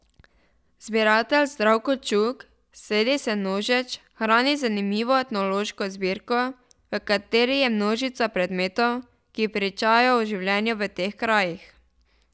Zbiratelj Zdravko Čuk sredi Senožeč hrani zanimivo etnološko zbirko, v kateri je množica predmetov, ki pričajo o življenju v teh krajih.